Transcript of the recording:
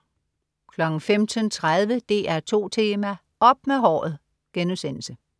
15.30 DR2 Tema: Op med håret!*